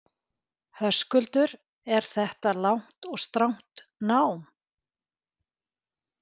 Höskuldur: Er þetta langt og strangt nám?